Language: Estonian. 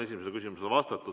Esimesele küsimusele on vastatud.